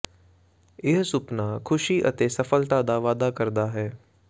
ਇਹ ਸੁਪਨਾ ਖੁਸ਼ੀ ਅਤੇ ਸਫਲਤਾ ਦਾ ਵਾਅਦਾ ਕਰਦਾ ਹੈ